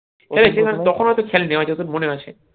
মানে তখন হয়তো খেলেনি হয়তো তোর মনে আছে